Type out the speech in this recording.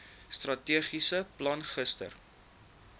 strategiese plan gister